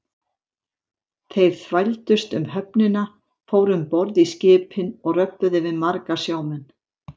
Þeir þvældust um höfnina, fóru um borð í skipin og röbbuðu við marga sjómenn.